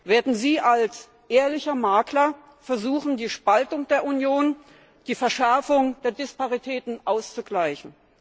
Werden Sie als ehrlicher Makler versuchen, die Spaltung der Union, die Verschärfung der Disparitäten auszugleichen?